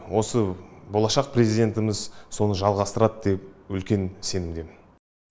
осы болашақ президентіміз соны жалғастырады деп үлкен сенімдемін